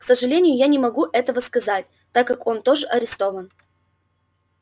к сожалению я не могу этого сказать так как он тоже арестован